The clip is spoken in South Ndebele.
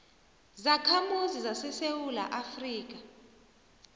zakhamuzi zesewula afrika